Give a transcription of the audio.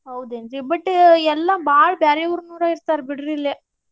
ಹೌದ್ ಏನ್ರೀ but ಎಲ್ಲಾ ಬಾಳ್ ಬ್ಯಾರೆ ಊರ್ನೋರೇ ಇರ್ತಾರ್ ಬಿಡ್ರಿ ಇಲ್ಲೆ.